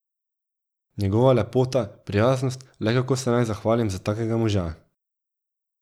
Njegova lepota, prijaznost, le kako se naj zahvalim za takega moža.